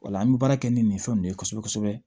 Ola an be baara kɛ ni nin fɛn nunnu ye kosɛbɛ kosɛbɛ